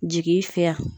Jigi fɛ